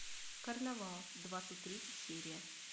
карнавал двадцать третья серия